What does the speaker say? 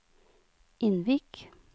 Innvik